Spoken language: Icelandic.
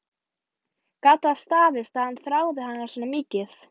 Gat það staðist að hann þráði hana svona mikið?